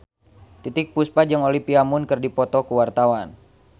Titiek Puspa jeung Olivia Munn keur dipoto ku wartawan